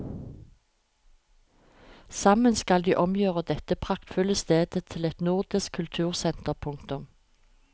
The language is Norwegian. Sammen skal de omgjøre dette praktfulle stedet til et nordisk kultursenter. punktum